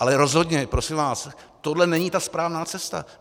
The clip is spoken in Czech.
Ale rozhodně, prosím vás, tohle není ta správná cesta.